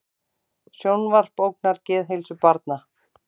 Sjónvarp ógnar geðheilsu barna